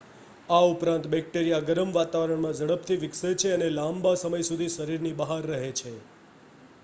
આ ઉપરાંત બેક્ટેરિયા ગરમ વાતાવરણમાં ઝડપથી વિકસે છે અને લાંબા સમય સુધી શરીરની બહાર રહે છે